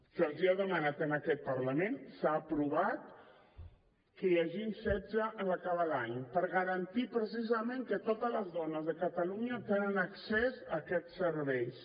se’ls ha demanat en aquest parlament s’ha aprovat que n’hi hagin setze en acabar l’any per garantir precisament que totes les dones de catalunya tenen accés a aquests serveis